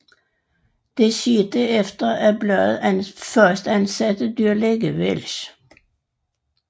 Dette skete efter at bladet fastansatte dyrlæge Welsch